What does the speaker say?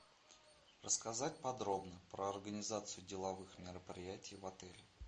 рассказать подробно про организацию деловых мероприятий в отеле